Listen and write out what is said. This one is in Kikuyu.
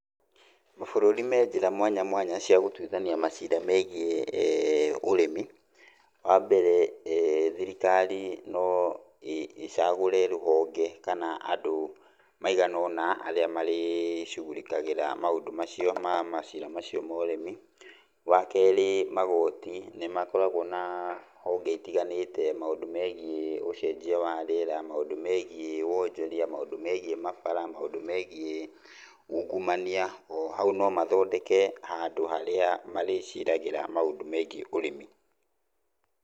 Mabũrũri me njĩra mwanya mwanya cia gũtuithania macira megiĩ urĩmi. Wa mbere thirikari no ĩcagũre rũhonge kana andũ maigana ũna arĩa marĩcugurikagĩra maũndũ macio ma macira macio ma ũrĩmi. Wa keerĩ magoti nĩmakoragwo na honge itiganĩte maũndũ megiĩ ucenjia wa rĩera, maũndũ megiĩ wonjoria, maũndũ megiĩ mabara , maũndũ megiĩ ungumania, o hau no mathondeke handũ harĩa marĩciragĩra maũndũ megiĩ ũrĩmi.